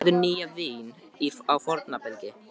Enginn setur nýtt vín á forna belgi.